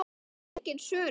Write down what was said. Það var engin svörun.